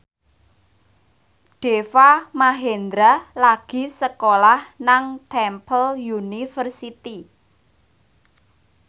Deva Mahendra lagi sekolah nang Temple University